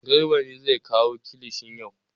Garba ne zai kawo kilishin yau.